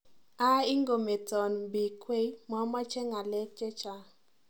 Aaa ingometan bik wei mamache ngalek che chang.